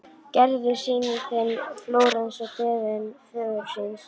Gerður sýnir þeim Flórens að beiðni föður síns.